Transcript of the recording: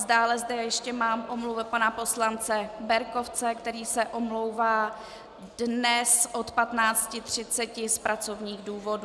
Dále zde ještě mám omluvu pana poslance Berkovce, který se omlouvá dnes od 15.30 z pracovních důvodů.